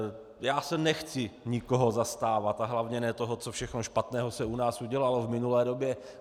Já se nechci nikoho zastávat a hlavně ne toho, co všechno špatného se u nás udělalo v minulé době.